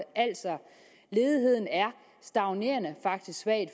altså at ledigheden er stagnerende faktisk svagt